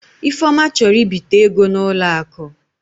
Ifeoma chọrọ ịbita ego n'ụlọ akụ.